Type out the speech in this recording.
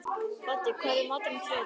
Baddi, hvað er í matinn á þriðjudaginn?